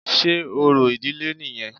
Sé orò ìdílé nìyẹn?